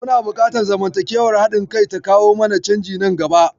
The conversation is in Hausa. Muna fatan zamantakewar haɗin-kai ta kawo mana canji nan gaba.